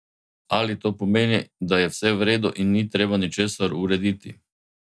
Ali to pomeni, da je vse v redu in ni treba ničesar urediti?